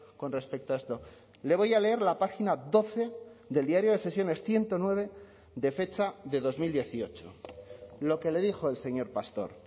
con respecto a esto le voy a leer la página doce del diario de sesiones ciento nueve de fecha de dos mil dieciocho lo que le dijo el señor pastor